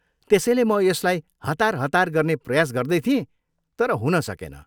त्यसैले म यसलाई हतार हतार गर्ने प्रयास गर्दै थिएँ तर हुन सकेन।